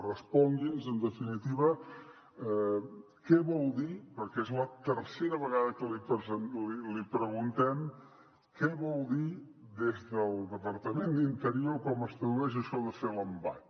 respongui’ns en definitiva què vol dir perquè és la tercera vegada que l’hi preguntem què vol dir des del departament d’interior o com es tradueix això de fer l’embat